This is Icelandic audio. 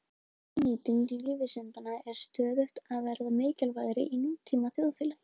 Hagnýting lífvísinda er stöðugt að verða mikilvægari í nútíma þjóðfélagi.